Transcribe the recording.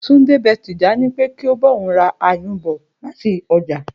Túndé be̩ Tìjání pé kó bá òun ra áyùn bò̩ láti o̩jà